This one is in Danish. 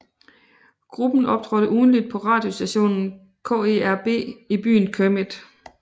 Gruppen optrådte ugentligt på radiostationen KERB i byen Kermit